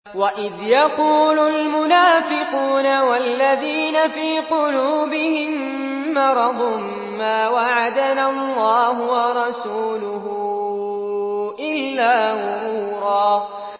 وَإِذْ يَقُولُ الْمُنَافِقُونَ وَالَّذِينَ فِي قُلُوبِهِم مَّرَضٌ مَّا وَعَدَنَا اللَّهُ وَرَسُولُهُ إِلَّا غُرُورًا